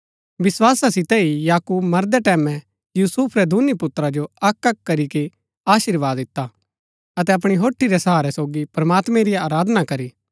विस्‍वासा सितै ही याकूब मरदै टैमैं यूसुफ रै दूनी पुत्रा जो अक्कअक्क करीके अशीर्वाद दिता अतै अपणी होठी रा सहारै सोगी प्रमात्मैं री आराधना करी